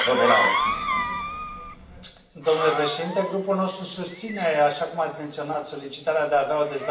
Domnule președinte, grupul nostru susține, așa cum ați menționat, solicitarea de a avea o dezbatere despre Venezuela.